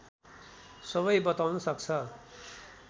सबै बताउन सक्छ